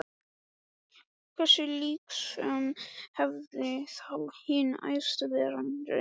Hversu líknsöm hafði þá hin Æðsta Vera reynst honum!